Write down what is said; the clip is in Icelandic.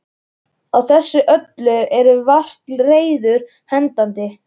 Á þessu öllu eru vart reiður hendandi.